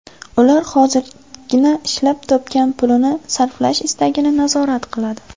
Ular hozirgina ishlab topgan pulini sarflash istagini nazorat qiladi.